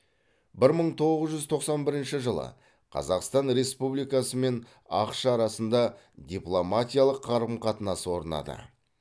бір мың тоғыз жүз тоқсан бірінші жылы қазақстан республикасы мен ақш арасында дипломатиялық қарым қатынас орнады